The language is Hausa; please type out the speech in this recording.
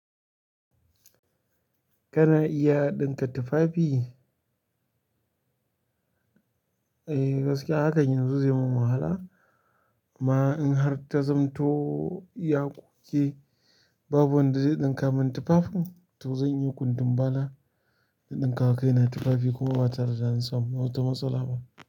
Kana iya ɗinka tufafi? Eh gaskiya hakan yanzu zai mun wahala. Amma in har ta zamto ya kuke, babu wanda zai ɗinka mun tufafin to zan iya kundinbala in ɗinkawa kaina tufafi kuma batare da zan samu wata matsala ba.